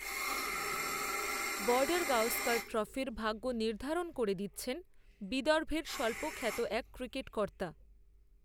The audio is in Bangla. বর্ডারগাওস্কর ট্রফির ভাগ্য নির্ধারণ করে দিচ্ছেন, বিদর্ভের স্বল্পখ্যাত এক ক্রিকেট কর্তা